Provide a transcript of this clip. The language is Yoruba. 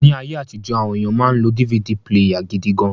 Ni aye atijo, awon eniyan ma n lo DVD píléyà gidi gan